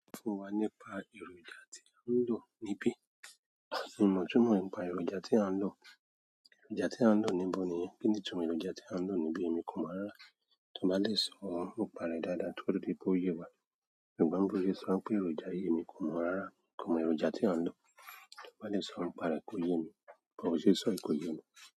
So fún wa nípa èròjà tí o ń lò níbí. Mio mo ìtumọ nípa èròjà tí à ń lò. Èròjà tí à ń lò níbo niyen? Kí ni itumo èròjà tí à ń lò níbí? Èmi kò mọ̀ rárá. Tò bá lè sọ, nipà re dáadáa tófi di pe ó yé wa. Ṣùgbọ́n bi se sọ pé èròjà yìí emi kò mọ̀ rárá. Kò mọ èròjà tí à ń lò. Tò bá lè sọ nípa rẹ kó yé mi. But bo ṣe n sọ yìí kò yé mi.